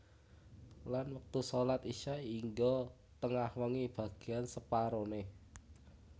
Lan wektu shalat Isya hingga tengah wengi bagéyan separoné